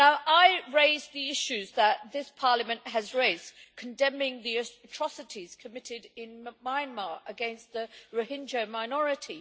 I raised the issues that this Parliament has raised, condemning the atrocities committed in Myanmar against the Rohingya minority.